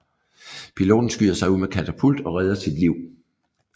Piloten skyder sig ud med katapult og redder sit liv